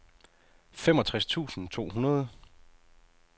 femogtres tusind to hundrede